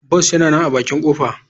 Bus yana nan a bakin kofa.